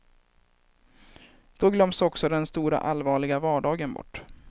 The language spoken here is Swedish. Då glöms också den stora allvarliga vardagen bort.